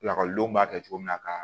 Lakɔlidenw b'a kɛ cogo min na ka